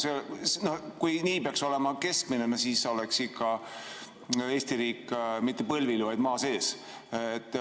Kui nii peaks olema keskmine, no siis oleks ikka Eesti riik mitte põlvili, vaid maa sees.